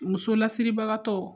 Muso lasibagatɔ